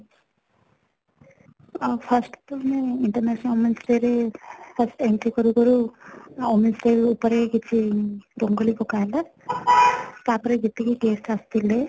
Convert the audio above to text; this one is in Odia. ଆ first ତ ମୁଁ international women 's day ରେ first entry କରୁ କରୁ women's day ଉପରେ କିଛି ରଙ୍ଗୋଲି ପକା ହେଲା, ତା ପରେ ଯେତିକି guest ଆସିଥିଲେ